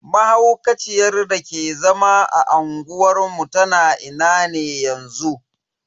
Mahaukaciyar dake zama a unguwar mu tana ina ne yanzu?